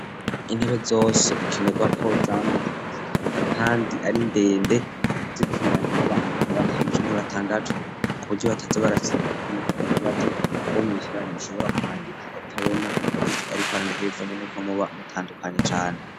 Intebe zose bikenerwa ko zama kandi ari ndende zikwiranye n'abantu na batanu canke batandatu ku buryo bataze barabandana kuburyou uwo mwicaranye utahava umutera kibazo ushobora kwandika utabona ivyo ariko arandika bivanye nukwo muba mutandukanya cane.